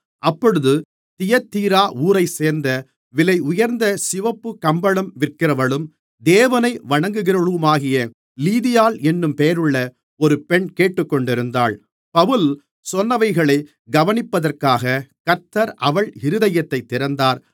அப்பொழுது தியத்தீரா ஊரைச்சேர்ந்த விலையுயர்ந்த சிவப்பு கம்பளம் விற்கிறவளும் தேவனை வணங்குகிறவளுமாகிய லீதியாள் என்னும் பெயருள்ள ஒரு பெண் கேட்டுக்கொண்டிருந்தாள் பவுல் சொன்னவைகளைக் கவனிப்பதற்காக கர்த்தர் அவள் இருதயத்தைத் திறந்தார்